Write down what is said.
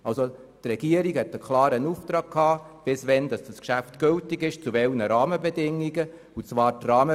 Die Regierung hatte somit einen klaren Auftrag, bis wann dieses Geschäft gültig ist und zu welchen Rahmenbedingungen es abgehandelt werden soll.